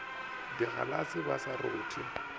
le digalase ba sa rothe